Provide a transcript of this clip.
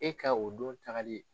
E ka o don tagali ye.